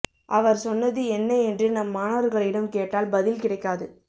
அவர் சொன்னது என்ன என்று நம் மாணவர்களிடம் கேட்டால் பதில் கிடைக்காது